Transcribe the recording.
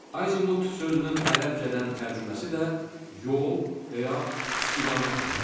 Azimut sözünün ərəbcədən tərcüməsi də yol və ya istiqamət deməkdir.